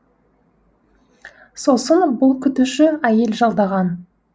сосын бұл күтуші әйел жалдаған